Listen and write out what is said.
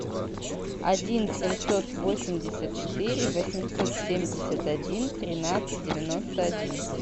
один семьсот восемьдесят четыре восемьсот семьдесят один тринадцать девяносто один